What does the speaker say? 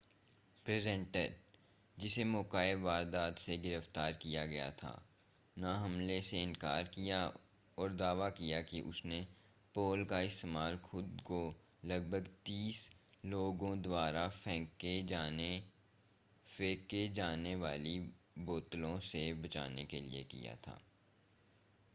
presenter जिसे मौका-ए-वारदात से गिरफ़्तार किया गया था ने हमले से इनकार किया और दावा किया कि उसने पोल का इस्तेमाल खुद को लगभग तीस लोगों द्वारा फेंके जाने वाली बोतलों से बचाने के लिए किया